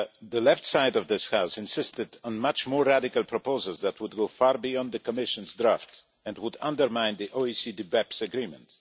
The left side of this House insisted on much more radical proposals that would go far beyond the Commission's draft and would undermine the OECD BEPS Agreement.